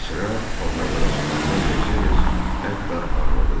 Sıra paltarlara çatanda Mersedes hətta ağladı da.